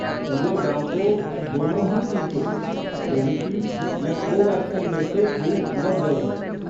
पूरे गाँव को दोनों ही टीके, कोविशील्ड या कोवैक्सिन में से एक लग गये हैं।